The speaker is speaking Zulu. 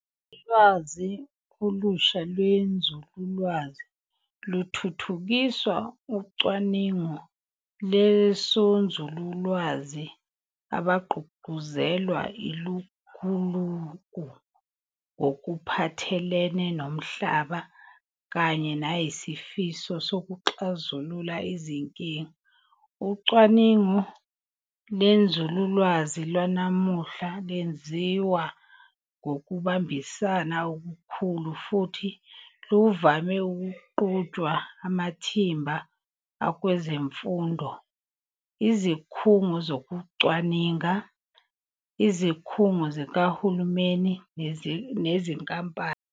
Ulwazi olusha lwenzululwazi luthuthukiswa ucwaningo losonzululwazi abagqugquzelwa ilukuluku ngokuphathelene nomhlaba kanye nayisifiso sokuxazulula izinkinga. Ucwaningo lwenzululwazi lwanamuhla lwenziwa ngokubambisana okukhulu futhi luvame ukuqhutshwa amathimba akwezemfundo, izikhungo zokucwaninga, izikhungo zikahulumeni nezinkampani.